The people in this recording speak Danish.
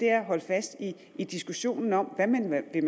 er at holde fast i diskussionen om hvad man vil